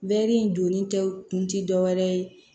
Bɛɛri in donni tɛw kun ti dɔwɛrɛ ye